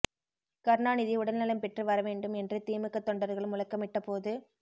கருணாநிதி உடல் நலம் பெற்று வரவேண்டும் என்று திமுக தொண்டர்கள் முழக்கமிட்ட போது